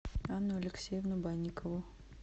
анну алексеевну банникову